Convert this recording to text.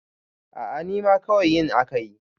a a nima kawai yin aka yi